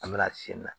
An bɛna sen na